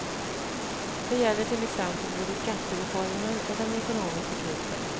Det gäller till exempel både skattereformen och den ekonomiska krisen.